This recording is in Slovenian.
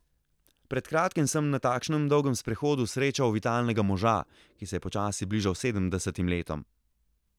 Pred kratkim sem na takšnem dolgem sprehodu srečal vitalnega moža, ki se je počasi bližal sedemdesetim letom.